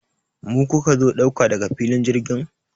Mu kuka zo ɗauka daga filin jirgin?